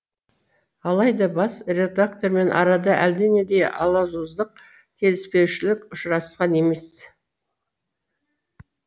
алайда бас редактормен арада әлденендей алауыздық келіспеушілік ұшырасқан емес